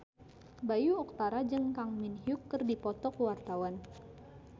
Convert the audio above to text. Bayu Octara jeung Kang Min Hyuk keur dipoto ku wartawan